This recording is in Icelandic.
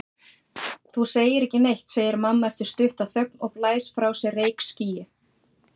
Þú segir ekki neitt, segir mamma eftir stutta þögn og blæs frá sér reykskýi.